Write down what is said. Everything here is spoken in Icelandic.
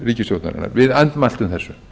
ríkisstjórnarinnar við andmæltum þessu